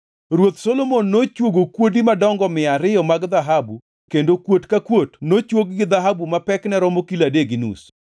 Ruoth Solomon nochwogo kuodi madongo mia ariyo mag dhahabu kendo kuot ka kuot nochwog gi dhahabu ma pekne romo kilo adek gi nus.